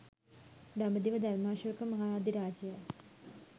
දඹදිව ධර්මාශෝක මහ අධිරාජයා